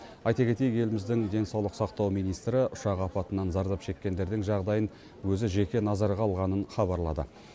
айта кетейік еліміздің денсаулық сақтау министрі ұшақ апатынан зардап шеккендердің жағдайын өзі жеке назарға алғанын хабарлады